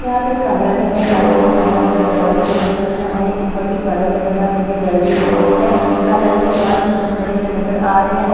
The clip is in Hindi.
यहां पे एक कार्यालय है कार्यालय में बहुत सारे दरवाजे लगे हुए हैं और एक ऊपर भी कार्यालय बन रहा है जिसकी गैलरी बनी हुई है कार्यालय के बाहर कुछ लोग खड़े हुए नजर आ रहे हैं और --